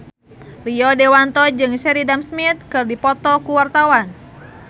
Rio Dewanto jeung Sheridan Smith keur dipoto ku wartawan